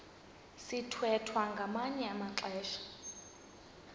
sithwethwa ngamanye amaxesha